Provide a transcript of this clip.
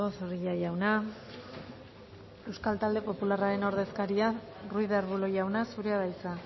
zorrilla jauna euskal talde popularraren ordezkaria ruiz de arbulo jauna zurea da hitza